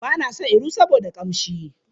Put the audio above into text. Bana son iru saboda kamshi.